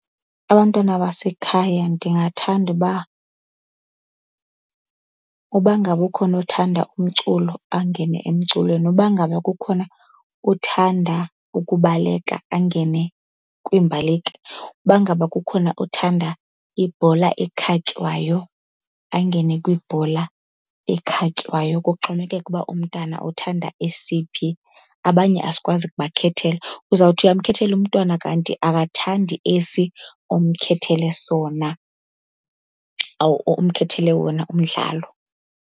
Abantwana basekhaya ndingathanda uba uba ngaba ukhona othanda umculo angene emculweni, uba ngaba kukhona othanda ukubaleka angene kwiimbaleki, uba ngaba kukhona othanda ibhola ekhatywayo angene kwibhola ekhatywayo, kuxhomekeka uba umntana uthanda esiphi. Abanye asikwazi ukubakhethela, uzawuthi uyamkhethela umntwana kanti akathandi esi umkhethele sona or umkhethele wona umdlalo.